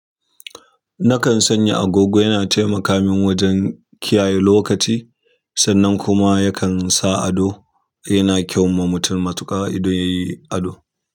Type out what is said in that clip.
Nakan sanya agogo yana taimaka min wajen kiyaye lokaci sannan kuma yakan sa ado yana kyau ma mutum matuƙa idan yayi ado.